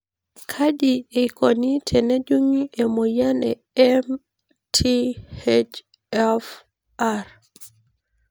Kaji eikoni tenejungi emoyian e MTHFR?